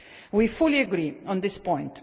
We fully agree on this point.